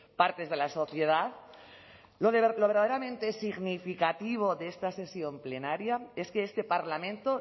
partes de la sociedad lo verdaderamente significativo de esta sesión plenaria es que este parlamento